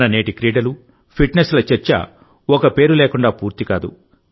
మన నేటి క్రీడలు ఫిట్నెస్ల చర్చ ఒక పేరు లేకుండా పూర్తి కాదు